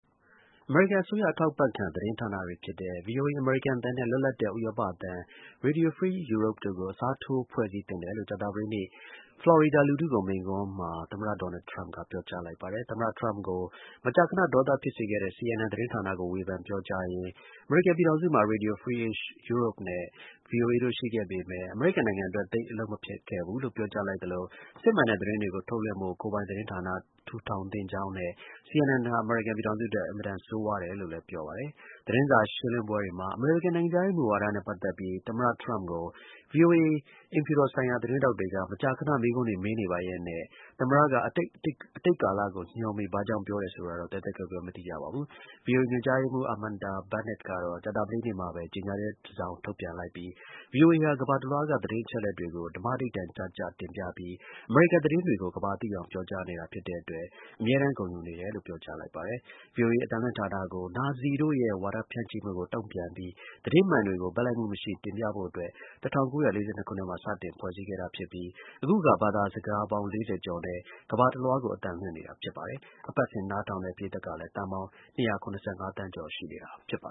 အမေရိကန် အစိုးရ အထောက်အပံ့ခံ သတင်းဌာနတွေ ဖြစ်ကြတဲ့ VOA အမေရိကန်အသံနဲ့ လွတ်လပ်တဲ့ ဥရောပအသံ Radio Free Europe တို့ကို အစားထိုးဖွဲ့စည်းသင့်တယ်လို့ ကြာသပတေးနေ့ ဖလော်ရီဒါလူထုကို မိန့်ခွန်းမှာ သမ္မတ Donald Trump ကပြောကြားလိုက်ပါတယ်။ သမ္မတ Trump ကို မကြာခဏ ဒေါသဖြစ်စေခဲ့တဲ့ CNN သတင်းဌာနကို ဝေဖန်ပြောကြားရင်း အမေရိကန်ပြည်ထောင်စုမှာ Radio Free Europe နဲ့ VOA တို့ ရှိခဲ့ပေမယ့် အမေရိကန်နိုင်ငံအတွက် သိပ်အလုပ်မဖြစ်ခဲ့ဘူးလို့ ပြောကြားလိုက်သလို စစ်မှန်တဲ့ သတင်းတွေကို ထုတ်လွှင့်ဖို့ ကိုယ်ပိုင်သတင်းဌာန ထူထောင်သင့်ကြောင်းနဲ့ CNN ဟာ အမေရိကန်ပြည်ထောင်စု အတွက် အင်မတန် ဆိုးဝါးတယ် လို့လည်း ပြောပါတယ်။ VOA အိမ်ဖြူတော် ဆိုင်ရာ သတင်းထောက်တွေက သတင်းစာ ရှင်းလင်းပွဲမှာ အမေရိကန် နိုင်ငံခြားရေး ဝါဒနဲ့ ပတ်သက်ပြီး သမ္မတ Trump ကို မကြာခဏ မေးခွန်းတွေ မေးနေပါရက်နဲ့ သမ္မတက အတိတ်ကာလကို ညွှန်းပြီး ရှိခဲ့တယ်လို့ ဘာကြောင့် ပြောတယ် ဆိုတာတော့ သဲသဲကွဲကွဲ မသိရပါဘူး။ VOA ညွှန်ကြားရေးမှူး Amanda Bennett ကတော့ ကြာသပတေးနေ့မှာပဲ ကြေညာချက် တစောင် ထုတ်ပြန်လိုက်ပြီး VOA ဟာ ကမ္ဘာတလွှားက သတင်းအချက်အလက်တွေကို ဓမ္မဓိဋ္ဌာန် ကျကျ တင်ပြပြီး အမေရိကန်သတင်းတွေကို ကမ္ဘာသိအောင် ပြောကြားနေတာ ဖြစ်တဲ့အတွက် အမြဲတမ်း ဂုဏ်ယူနေတယ်လို့ ပြောကြားလိုက်ပါတယ်။ VOA အသံလွှင့်ဌာနကို နာဇီတို့ရဲ့ ဝါဒဖြန့်မှုကို တုံ့ပြန်ပြီး သတင်းမှန်တွေကို ဘက်လိုက်မှုမရှိ တင်ပြဖို့အတွက် ၁၉၄၂ ခုနှစ်မှာ စတင်ဖွဲ့စည်း ခဲ့တာ ဖြစ်ပြီး အခုအခါ ဘာသာစကားပေါင်း ၄၀ ကျော်နဲ့ ကမ္ဘာတလွှားကို အသံလွှင့်နေတာ ဖြစ်ပါတယ်။ အပတ်စဉ် နားထောင်တဲ့ ပရိတ်သတ် ကလည်း သန်းပေါင်း ၂၇၅ သန်းကျော် ရှိနေတာပါ